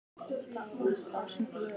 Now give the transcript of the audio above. Það var á laugardegi.